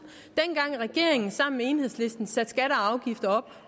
dengang regeringen sammen med enhedslisten satte skatter og afgifter op